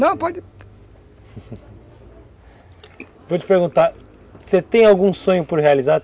Não, pode... Vou te perguntar, você tem algum sonho por realizar?